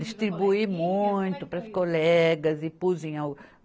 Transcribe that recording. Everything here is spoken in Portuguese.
Distribuí muito para as colegas e pus em au.